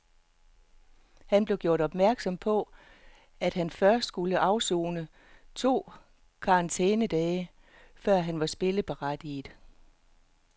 Han blev gjort opmærksom på, at han først skulle afsone to karantænedage, før han var spilleberettiget.